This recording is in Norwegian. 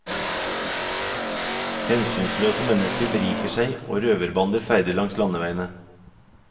Hensynsløse mennesker beriker seg og røverbander ferdes langs landeveiene.